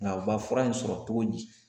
Nka u ba fura in sɔrɔ cogo di